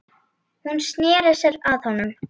Hún sneri sér að honum.